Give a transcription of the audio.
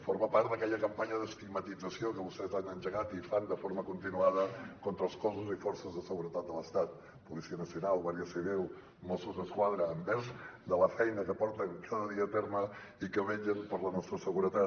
forma part d’aquella campanya d’estigmatització que vostès han engegat i fan de forma continuada contra els cossos i forces de seguretat de l’estat policia nacional guàrdia civil mossos d’esquadra envers la feina que porten cada dia a terme i que vetllen per la nostra seguretat